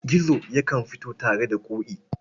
Gizo yakan fito tare da Ƙoƙi.